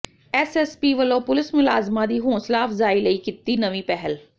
SSP ਵੱਲੋਂ police ਮੁਲਾਜ਼ਮਾਂ ਦੀ ਹੌਂਸਲਾ ਅਫ਼ਜ਼ਾਈ ਲਈ ਕੀਤੀ ਨਵੀਂ ਪਹਿਲ